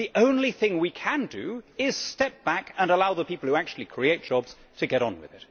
The only thing we can do is step back and allow the people who actually create jobs to get on with it.